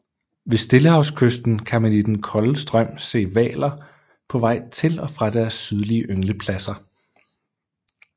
Ved stillehavskysten kan man i den kolde strøm se hvaler på vej til og fra deres sydlige ynglepladser